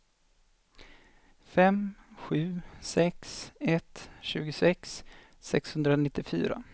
fem sju sex ett tjugosex sexhundranittiofyra